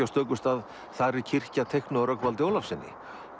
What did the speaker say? á stöku stað þar er kirkja teiknuð af Rögnvaldi Ólafssyni